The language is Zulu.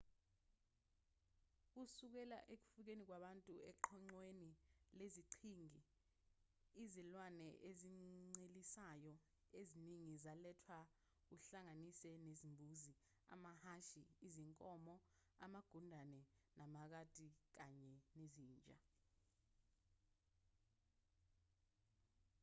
kusukela ekufikeni kwabantu eqoqweni leziqhingi izilwane ezincelisayo eziningi zalethwa kuhlanganise nezimbuzi amahhashi izinkomo amagundane amakati kanye nezinja